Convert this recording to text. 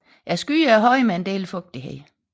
Skyerne er høje med en del fugtighed